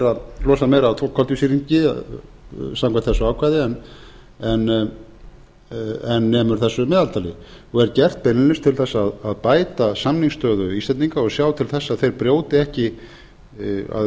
sé losað meira af koltvísýringi samkvæmt þessu ákvæði en nemur þessu meðaltali og er gert beinlínis til að bæta samningsstöðu íslendinga og sjá til þess að